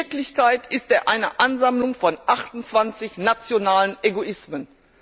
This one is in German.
In Wirklichkeit ist er eine Ansammlung von 28 nationalen Egoismen.